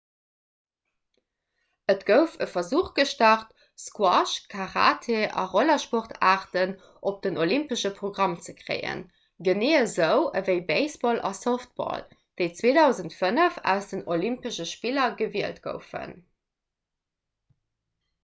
et gouf e versuch gestart squash karate a rollersportaarten op den olympesche programm ze kréien genee esou ewéi baseball a softball déi 2005 aus den olympesche spiller gewielt goufen